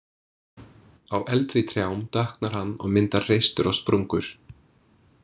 Á eldri trjám dökknar hann og myndar hreistur og sprungur.